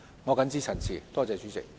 我謹此陳辭，多謝代理主席。